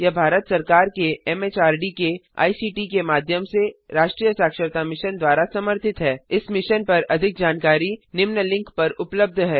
यह भारत सरकार के एमएचआरडी के आईसीटी के माध्यम से राष्ट्रीय साक्षरता मिशन द्वारा समर्थित है इस मिशन पर अधिक जानकारी निम्न लिंक पर उपलब्ध है